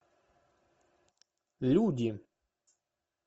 люди